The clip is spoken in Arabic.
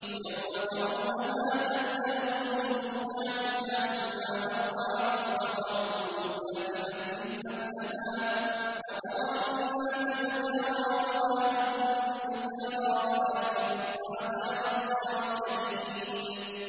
يَوْمَ تَرَوْنَهَا تَذْهَلُ كُلُّ مُرْضِعَةٍ عَمَّا أَرْضَعَتْ وَتَضَعُ كُلُّ ذَاتِ حَمْلٍ حَمْلَهَا وَتَرَى النَّاسَ سُكَارَىٰ وَمَا هُم بِسُكَارَىٰ وَلَٰكِنَّ عَذَابَ اللَّهِ شَدِيدٌ